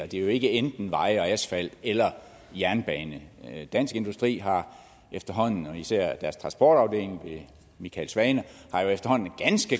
det er jo ikke enten veje og asfalt eller jernbane dansk industri har efterhånden og især deres transportafdeling ved michael svane